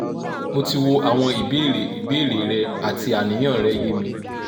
mo ti wo awon ibeere ibeere re ati aniyan re ye mi